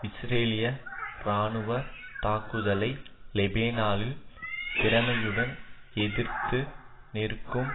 இஸ்ரேலிய இராணுவ தாக்குதலை லெபனானில் திறமையுடன் எதிர்த்து நிற்கும்